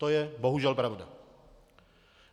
To je bohužel pravda.